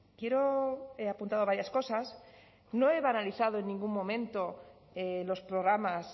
quiero he apuntado varias cosas no he banalizado en ningún momento los programas